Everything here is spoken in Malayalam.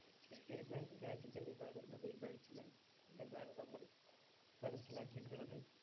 ചൈന എന്ന രാജ്യത്ത് നിന്നാണ് അത് ഉത്ഭവിച്ചത് എന്നാണ് നമ്മള്‍ മനസിലാക്കിയിട്ടുള്ളത്.